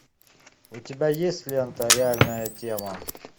у тебя есть лента реальная тема